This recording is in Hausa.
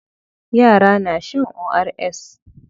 Yara na shan ORS.